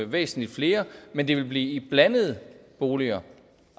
væsentlig flere men det vil blive i blandede boliger